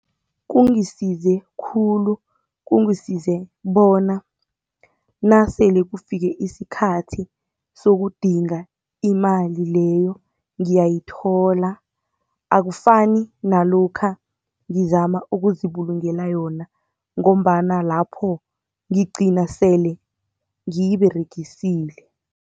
Kungisize khulu, kungisize bona nasele kufike isikhathi sokudinga imali leyo ngiyayithola, akufani nalokha ngizama ukuzibulungela yona, ngombana lapho ngigcina sele ngiyiberegisile.